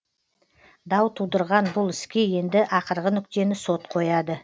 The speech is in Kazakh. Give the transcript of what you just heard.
дау тудырған бұл іске енді ақырғы нүктені сот қояды